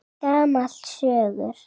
Gamall söngur!